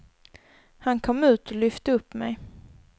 Han kom ut och lyfte upp mig.